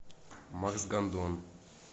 макс гандон